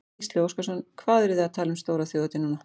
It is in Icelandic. Gísli Óskarsson: Hvað eruð þið að tala um stóra þjóðhátíð núna?